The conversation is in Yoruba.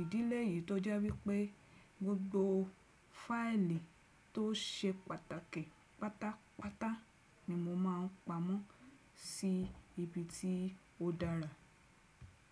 Ìdílé yìí tọ́já wípé gbogbo sí ibi tí ó dára.